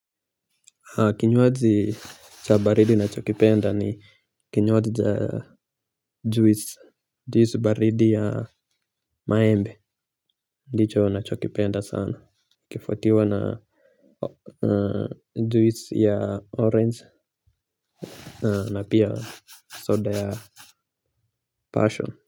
Kinywaji cha baridi ninachokipenda ni kinywaji cha juis baridi ya maembe ndicho nachokipenda sana ikifuatiwa na juisi ya orange na pia soda ya passion kwa hivyo.